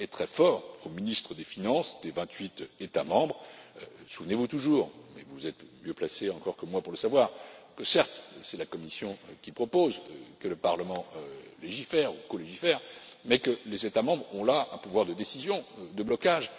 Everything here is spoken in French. et très fort aux ministres des finances des vingt huit États membres. Souvenez vous toujours mais vous êtes encore mieux placés que moi pour le savoir que certes, c'est la Commission qui propose et le Parlement qui légifère ou colégifère, mais que les États membres ont un pouvoir de décision, de blocage